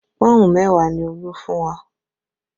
Pọ́ùn mẹ́wàá ni Olú fún wa